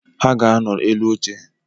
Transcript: Ha ga-anọ elu oche